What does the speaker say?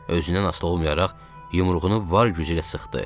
Özündən asılı olmayaraq yumruğunu var gücü ilə sıxdı.